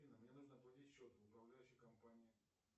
афина мне нужно оплатить счет в управляющей компании